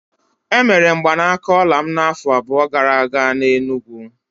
Emere mgbanaka ọla m n'afọ abụọ gara aga n'Enugwu.